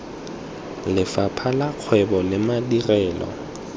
lefapha la kgwebo le madirelo